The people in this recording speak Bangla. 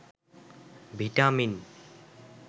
ভিটামিন